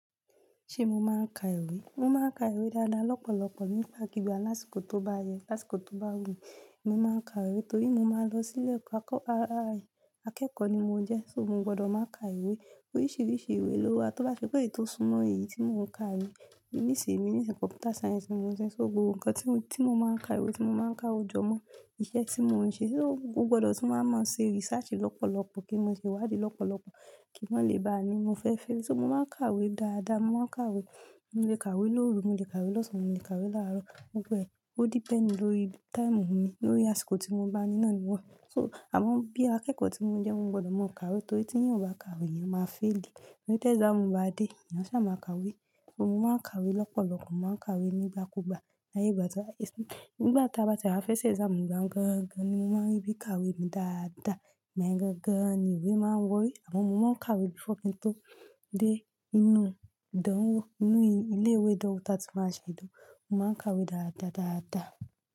Ṣé mo máa ń ka ìwé? Mo máa ń ka ìwé dáadáa, lọ́pọ̀lọ́pọ̀ nígba ki igbà lásìkò tó bá yẹ, lásìkò tó bá wù mí, mo máa ń ka ìwé torí mo máa ń lọ sílẹ̀ ekọ́ akọ́-- akẹ́kọ̀ọ́ ni mo ń jẹ́, só mo gbọdọ̀ máa ka ìwé. Oríṣìíríṣìí ìwé ló wà, tó bá ṣe pé èyí tó súnmọ́ èyí tí mo ń ka yii. Níṣe mi, nísè kọ̀mpútà sáyẹ́ǹsì ni mo ń ṣe, só gbogbo nǹkan tí mo, tí mo máa ń ka ìwé tí mo máa ń ka ojọ́ mọ́ iṣẹ́ tí mo ń ṣe, só ó gbọdọ̀ tí màá mọ̀ ṣe research lọ́pọ̀lọ́pọ̀ kí mo lè wádìí lọ́pọ̀lọ́pọ̀ kí wọn lè bá mi mọ fẹ́ fẹ́. Só mo máa ń ka ìwé dáadáa, mo máa ń ka ìwé, mo lè ka ìwé lóru, mo lè ka ìwé lọ́sàn-án, mo lè ka ìwé láàárọ̀. Mo gbọ́ ẹ̀, ó dípẹ̀nd lórí táìmù mi, lórí àsìkò tí mo bá ní náà ni wọ́. Só àwọn bí i akẹ́kọ̀ọ́ tí mo ń jẹ́ mo gbọdọ̀ máa ka ìwé torí tí ènìyàn ò bá ka ìwé, ènìyàn máa failì. Tori ti exam bá dé, ènìyàn ṣá máa ka ìwé. Só mo máa ń ka ìwé lọ́pọ̀lọ́pọ̀, mo máa ń ka ìwé nígbàkúgbà l'áyé ìgba ti. Ìgbà táa bá ti ara fẹ́ ṣe exam gan-gan-gan ni mo máa ń rí bí ka ìwé mi dáadáa, igbayen gan-gan ni ìwé máa ń wọ́ ori. Amo mo máa ń ka ìwé before kin tó dé inú ìdánwò, inú ilé ìwé ìdánwò tá tí máa ṣe ìdánwò. Mo máa ń ka ìwé dáadáa, dáadáa.